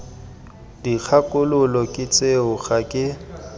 dikgakololo ke tseo ga ke